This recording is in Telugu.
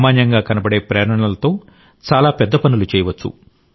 సామాన్యంగా కనబడే ప్రేరణలతో చాలా పెద్ద పనులు చేయవచ్చు